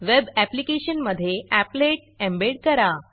web application मधे applet embed करा